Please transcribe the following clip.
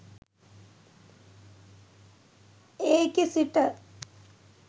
ඒකෙ සිට